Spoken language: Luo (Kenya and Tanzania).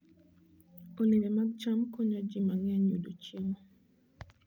Olembe mag cham konyo ji mang'eny yudo chiemo.